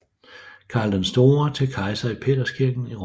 Karl den Store til kejser i Peterskirken i Rom